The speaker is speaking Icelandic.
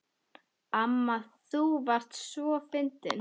Amma þú varst svo fyndin.